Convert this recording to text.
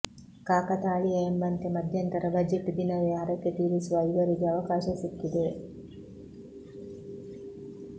ಕಾಕತಾಳೀಯ ಎಂಬಂತೆ ಮಧ್ಯಂತರ ಬಜೆಟ್ ದಿನವೇ ಹರಕೆ ತೀರಿಸುವ ಇವರಿಗೆ ಅವಕಾಶ ಸಿಕ್ಕಿದೆ